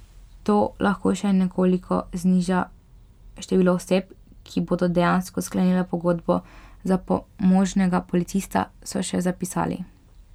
To lahko še nekoliko zniža število oseb, ki bodo dejansko sklenile pogodbo za pomožnega policista, so še zapisali.